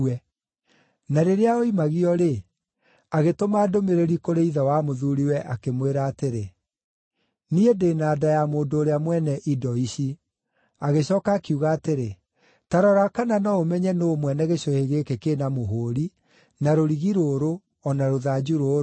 Na rĩrĩa oimagio-rĩ, agĩtũma ndũmĩrĩri kũrĩ ithe wa mũthuuriwe, akĩmwĩra atĩrĩ, “Niĩ ndĩ na nda ya mũndũ ũrĩa mwene indo ici.” Agĩcooka akiuga atĩrĩ, “Ta rora kana no ũmenye nũũ mwene gĩcũhĩ gĩkĩ kĩ na mũhũũri, na rũrigi rũrũ, o na rũthanju rũrũ.”